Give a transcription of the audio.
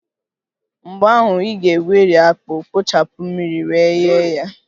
Mgbe ahụ, ị ga-egweri akpu, kpochapụ mmiri wee ghee ya